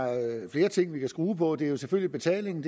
flere ting vi kan skrue på der er jo selvfølgelig betalingen